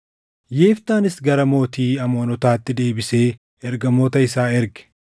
Yiftaanis gara mootii Amoonotaatti deebisee ergamoota isaa erge;